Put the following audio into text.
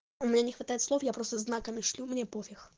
у меня не хватает слов я просто знаками шлю мне пофиг